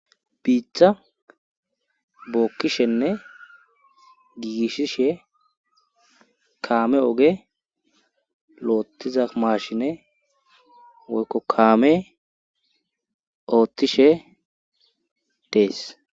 biitha bookkishenne giigishishe kaame oge loottiza maashine woykkokaame oothtishe dees